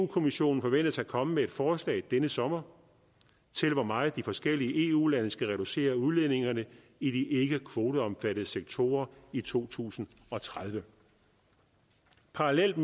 kommissionen forventes at komme med et forslag denne sommer til hvor meget de forskellige eu lande skal reducere udledningerne i de ikke kvoteomfattede sektorer i to tusind og tredive parallelt